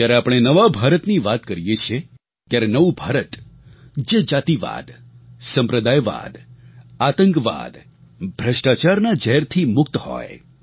જ્યારે આપણે નવા ભારતની વાત કરીએ છીએ ત્યારે નવું ભારત જે જાતિવાદ સંપ્રદાયવાદ આતંકવાદ ભ્રષ્ટાચારના ઝેરથી મુક્ત હોય